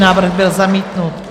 Návrh byl zamítnut.